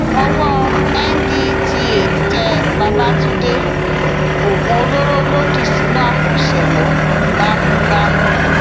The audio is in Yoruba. owó ndtea tẹ babafúndé oògùn olóró ló dì sínú àpò ṣémó bámúbámú